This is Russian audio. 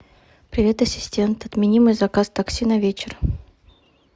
привет ассистент отмени мой заказ такси на вечер